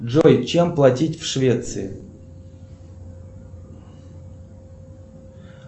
джой чем платить в швеции